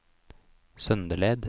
Søndeled